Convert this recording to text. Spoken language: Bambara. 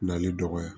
Nali dɔgɔya